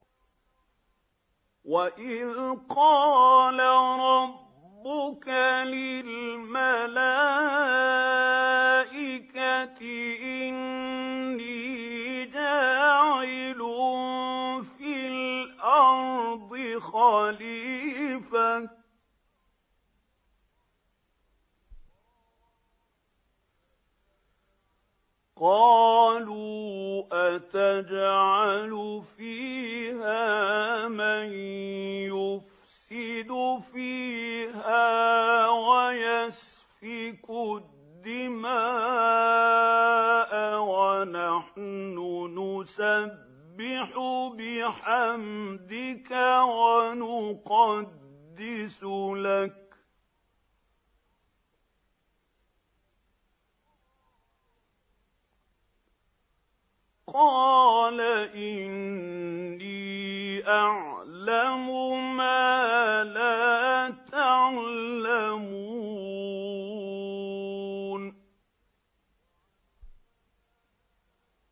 وَإِذْ قَالَ رَبُّكَ لِلْمَلَائِكَةِ إِنِّي جَاعِلٌ فِي الْأَرْضِ خَلِيفَةً ۖ قَالُوا أَتَجْعَلُ فِيهَا مَن يُفْسِدُ فِيهَا وَيَسْفِكُ الدِّمَاءَ وَنَحْنُ نُسَبِّحُ بِحَمْدِكَ وَنُقَدِّسُ لَكَ ۖ قَالَ إِنِّي أَعْلَمُ مَا لَا تَعْلَمُونَ